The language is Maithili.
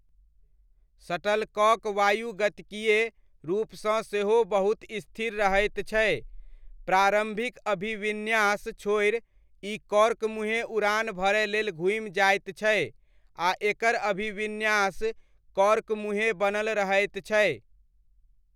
शटलकॉक वायुगतिकीय रूपसँ सेहो बहुत स्थिर रहैत छै, प्रारम्भिक अभिविन्यास छोड़ि ई कॉर्क मुँहे उड़ान भरय लेल घूमि जाइत छै आ एकर अभिविन्यास कॉर्क मुँहे बनल रहैत छै।